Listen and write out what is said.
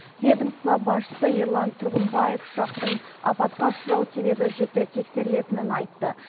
ведомство басшысы ерлан тұрғымбаев ұшақтың апатқа ұшырау себебі жіті тексерілетінін айтты